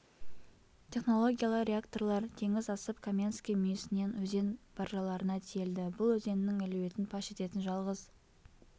технологиялы реакторлар теңіз асып каменский мүйісінен өзен баржаларына тиелді бұл өзеннің әлеуетін паш ететін жалғыз